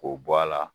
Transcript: K'o bɔ a la